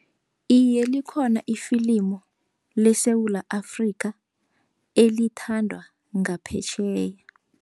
Iye, likhona ifilimu leSewula Afrika, elithandwa ngaphetjheya.